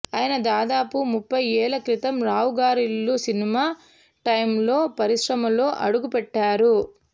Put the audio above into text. ఆయన దాదాపు ముప్పై ఏళ్ల క్రితం రావుగారిల్లు సినిమా టైమ్లో పరిశ్రమలో అడుగుపెట్టారు